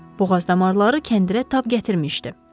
Boğaz damarları kəndirə tab gətirmişdi.